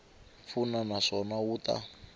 pfuna na swona wu ta